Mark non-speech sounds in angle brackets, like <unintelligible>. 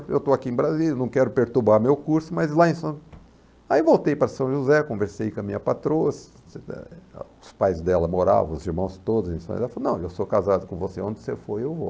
Eu estou aqui em Brasília, não quero perturbar meu curso, mas lá em São... Aí voltei para São José, conversei com a minha patroa, <unintelligible> os pais dela moravam, os irmãos todos, e ela falou, não, eu sou casado com você, onde você for, eu vou.